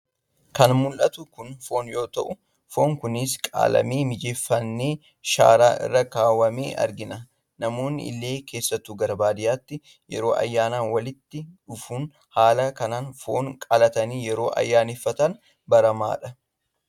Kan mul'atu kun foon yommuu ta'u foon kunis qalamee mijeeffanee sharaa irra kaawwamee argina. Namoonni illee keessattu gara baadiyaatti yeroo ayyaana walitti dhufuun haala kanaan foon qalatanii yeroo ayyaaneffatan baramaadha.